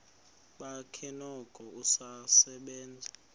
bakhe noko usasebenza